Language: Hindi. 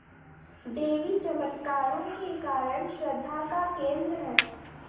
देवी चमत्कारों के कारण श्रद्धा का केन्द्र है